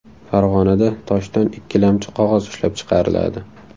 Farg‘onada toshdan ikkilamchi qog‘oz ishlab chiqariladi.